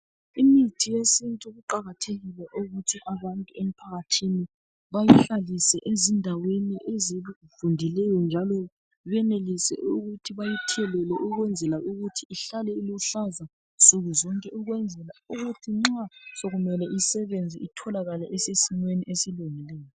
Imithi yesintu kuqakathekile ukuthi abantu emphakathini bayihlalise ezindaweni ezivundileyo njalo, benelise ukuthi bayithelele ukwenzela ukuthi ihlale iluhlaza nsukuzonke ukwenzela ukuthi nxa sokumele isebenze itholakale isesimeni esilungileyo.